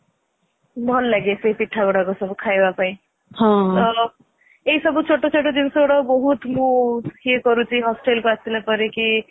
ଭଲ ଲାଗେ ସେଇ ପିଠା ଗୁଡାକ ସବୁ ଖାଇବା ପାଇଁ ଏଇ ସବୁ ଚିତ ଚିତ ଜିନିଷ ଗୁଡାକ ବହୁତ ମୁଁ ଇଏ କରୁଛି hostelକୁ ଆସିଲା ପରେ କି